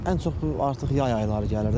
Ən çox bu artıq yay ayları gəlir də.